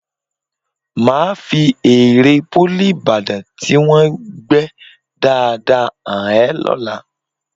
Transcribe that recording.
Màá fi ère Pólì Ìbàdàn tí wọ́n gbẹ́ dáadáa hàn ẹ lọ́la